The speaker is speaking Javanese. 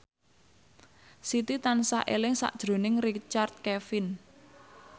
Siti tansah eling sakjroning Richard Kevin